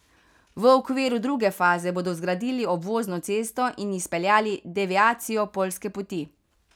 V okviru druge faze bodo zgradili obvozno cesto in izpeljali deviacijo poljske poti.